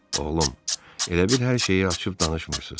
Oğlum, elə bil hər şeyi açıb danışmırsız.